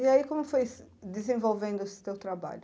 E aí, como foi desenvolvendo esse teu trabalho?